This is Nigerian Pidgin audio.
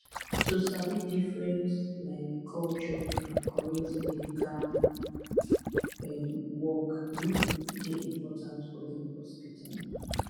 to sabi different um culture and correct medical um work um dey important for dem hospital